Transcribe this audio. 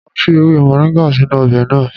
Màá fi ewe moringa sínú ọbẹ̀ náà.